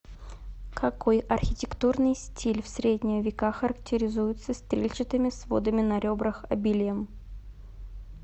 какой архитектурный стиль в средние века характеризуется стрельчатыми сводами на ребрах обилием